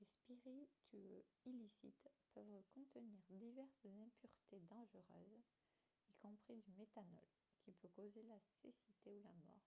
les spiritueux illicites peuvent contenir diverses impuretés dangereuses y compris du méthanol qui peut causer la cécité ou la mort